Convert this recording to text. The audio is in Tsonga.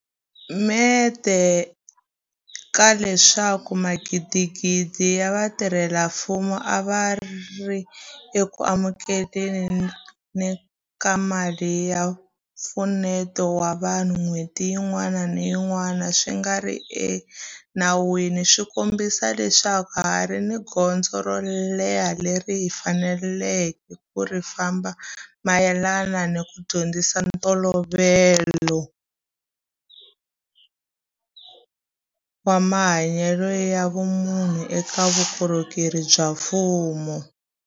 Mente ka leswaku magidigidi ya vatirhela mfumo a va ri eku amukele ni ka mali ya mpfuneto wa vanhu n'hweti yin'wana ni yin'wana swi nga ri enawini swi kombisa leswaku ha ha ri ni gondzo ro leha leri hi faneleke ku ri famba mayelana ni ku dyondzisa ntolovelo wa mahanyelo ya vumunhu eka vukorhokeri bya mfumo.